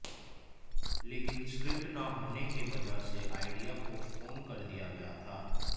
लेकिन स्क्रिप्ट न होने के वजह से आईडिया पोस्टपोन कर दिया गया था